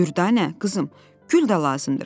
Dürdanə, qızım, gül də lazımdır.